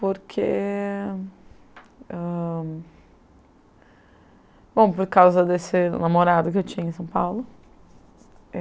Porque ah... Bom, por causa desse namorado que eu tinha em São Paulo.